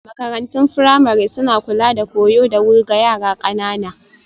Makarantun firamare suna kula da koyo da wuri ga yara ƙanana